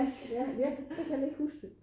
Ja jeg kan ikke huske det